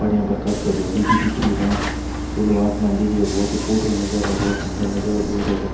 पहाड़िया पर काफी हरियाली भी दिख री है खुलो आसमान दिख रेहो बहुत ही फूटरो नजारों है बहुत सुंदर नजारों देयडॉ है भई।